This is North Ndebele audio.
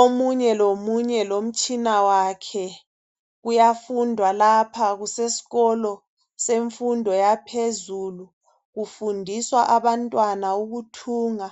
Omunye lomunye lomtshina wakhe kuyafundwa lapha kuseskolo semfundo yaphezulu kufundiswa abantwana ukuthunga